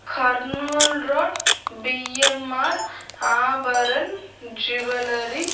Kurnool road BMR Abharan jewellery --